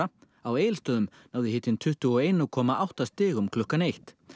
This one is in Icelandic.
á Egilsstöðum náði hitinn tuttugu og einn komma átta stigum klukkan eitt